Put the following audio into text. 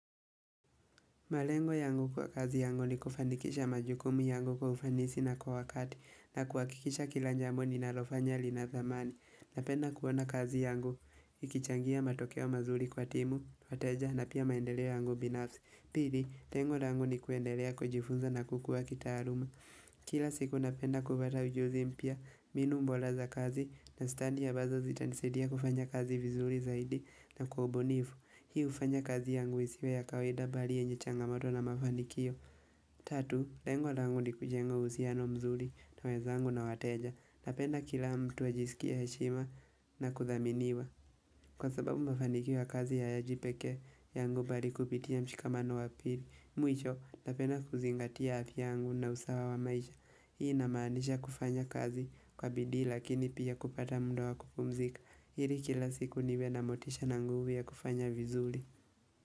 Malengo yangu kwa kazi yangu ni kufanikisha majukumi yangu kwa ufanisi na kwa wakati na kuhakikisha kila jambo ni nalofanya lina dhamani. Napenda kuona kazi yangu, ikichangia matokeo mazuri kwa timu, wateja na pia maendeleo yangu binafsi. Pili, lengo langu ni kuendelea kwa jifunza na kukua kita aluma. Kila siku napenda kupata ujuzi mpya, mbinu bora za kazi na stadi ambazo zitanisaidia kufanya kazi vizuri zaidi na kwa ubunifu. Hii hufanya kazi yangu isiwe ya kawaida bali yenye changamoto na mafanikio Tatu, lengo langu ni kujenga uhusiano mzuri na wenzangu na wateja Napenda kila mtu ajisikie heshima na kuthaminiwa Kwa sababu mafanikio ya kazi hayaji peke yangu bali kupitia mshikamano wa pili Mwisho, napenda kuzingatia afya yangu na usawa wa maisha Hii inamaanisha kufanya kazi kwa bidii lakini pia kupata muda wa kupumzika ili kila siku niwe na motisha na nguvu ya kufanya vizuri.